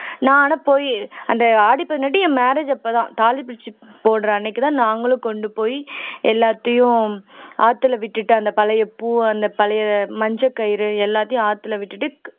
நான் ஆனா போயி அந்த ஆடி பதினெட்டு என் marriage அப்பதான் தாலி பிரிச்சு போடுற அன்னைக்குதான் நாங்களும் கொண்டு போய் எல்லாத்தையும் ஆத்தில விட்டுட்டு அந்த பழைய பூ அந்த பழைய மஞ்ச கயிறு எல்லாத்தையும் ஆத்தில விட்டுட்டு